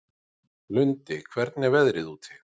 Lundi, hvernig er veðrið úti?